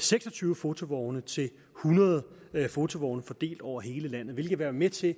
seks og tyve fotovogne til hundrede fotovogne fordelt over hele landet hvilket vil være med til